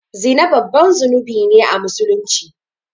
Zina babban zunubi ne a musulunci